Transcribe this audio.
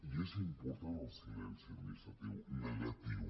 i és important el silenci administratiu negatiu